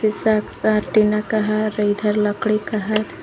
टीना का है और इधर लकड़ी का है।